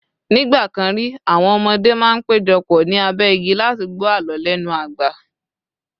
nigbakan ri, àwọn ọmọdé ma n pejọ pọ̀ ni abe igi láti gbọ àlọ lenu agba